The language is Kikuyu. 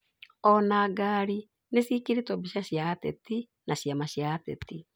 Ona ngari nĩcĩĩkĩrĩtwo mbica cia ateti na ciama cia ũteti